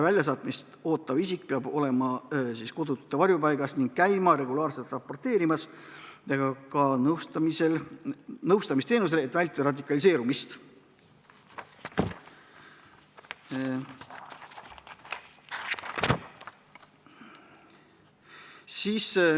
Väljasaatmist ootav isik peab olema kodutute varjupaigas ning käima regulaarselt raporteerimas ja ka nõustamisel, et vältida radikaliseerumist.